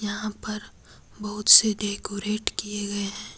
यहां पर बहुत से डेकोरेट किए गए हैं।